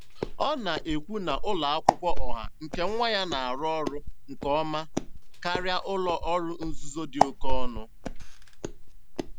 Ọ na-ekwu na ụlọ akwụkwọ ọha nke nwa ya na-arụ ọrụ nke ọma karịa ụlọ ọrụ nzuzo dị oke ọnụ.